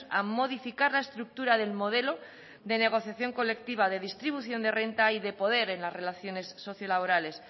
a modificar la estructura del modelo de negociación colectiva de distribución de renta y de poder en las relaciones sociolaborales